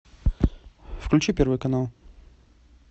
включи первый канал